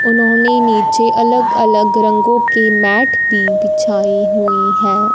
उन्होंने नीचे अलग अलग रंगों के मैट भी बिछाई हुई है।